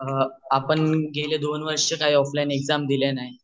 अ आपण गेले दोन वर्ष काही ऑफलाइन एग्जाम दिल्या नाही